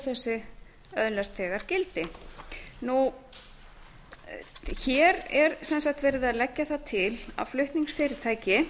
þessi öðlast þegar gildi hér er sem sagt verið að leggja það til að flutningsfyrirtæki